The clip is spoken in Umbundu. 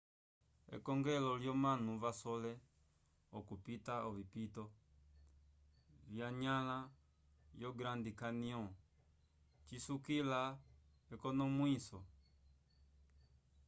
ekongelo lyomanu vasole okupita ovipito vanyãla yo grand canyon cisukila ekonomwiso